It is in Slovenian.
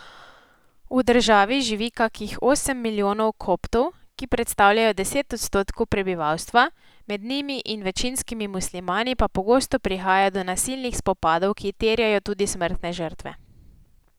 V državi živi kakih osem milijonov koptov, ki predstavljajo deset odstotkov prebivalstva, med njimi in večinskimi muslimani pa pogosto prihaja do nasilnih spopadov, ki terjajo tudi smrtne žrtve.